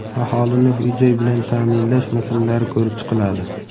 aholini uy-joy bilan ta’minlash masalalari ko‘rib chiqiladi.